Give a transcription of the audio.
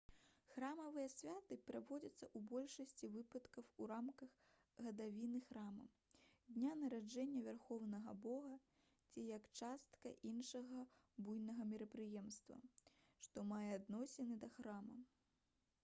храмавыя святы праводзяцца ў большасці выпадкаў у рамках гадавіны храма дня нараджэння вярхоўнага бога ці як частка іншага буйнога мерапрыемства што мае адносіны да храма